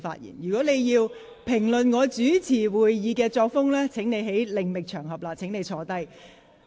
你如要評論我主持會議的作風，請另覓場合，現在請你坐下。